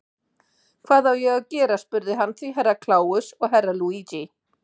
Hvað á ég að gera spurði hann því Herra Kláus og Herra Luigi.